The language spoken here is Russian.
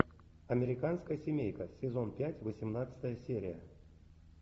американская семейка сезон пять восемнадцатая серия